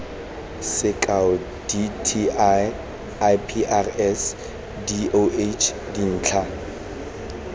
sekao dti iprs doh dintlha